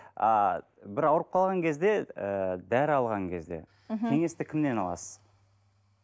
а бір ауырып қалған кезде ы дәрі алған кезде мхм кеңесті кімнен аласыз